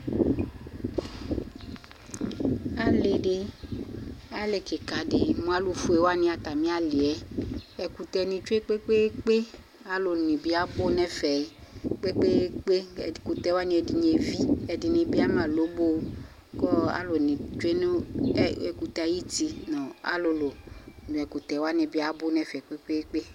Ali di, ali kika di, mʋ alʋfue wani atami ayali Ɛkʋtɛ ni tsue kpekpeekpe Alʋ ni bi abʋ nʋ ɛfɛ kpekpeekpe, ɛkʋtɛ wani ɛdini evi, ɛdini bi ama lobo kɔɔ alʋ ni tsue nʋ ɛkʋtɛ yɛ ayuti nʋ alʋlʋ nʋ ɛkʋtɛ wani bi abʋ nɛfɛ kpekpeekpe